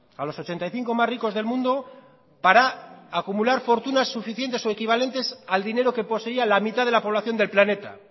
a los ochenta y cinco más ricos del mundo para acumular fortunas suficientes o equivalentes al dinero que poseía la mitad de la población del planeta